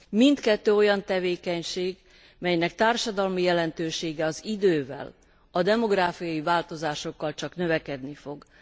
Mindkettő olyan tevékenység, melynek társadalmi jelentősége az idővel, a demográfiai változásokkal csak növekedni fog.